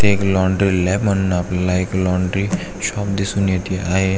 इथे एक laundry lab म्हणून आपल्याला एक लॉन्ड्री शॉप दिसून येत आहे.